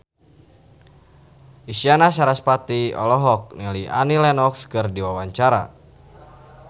Isyana Sarasvati olohok ningali Annie Lenox keur diwawancara